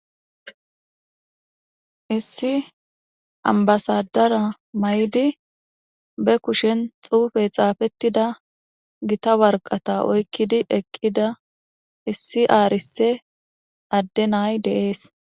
Issi addey ambbasaadera mayidi ba kushen xuufe xaapettida waraqaata oyqqidi eqqidayssa be7ashe days.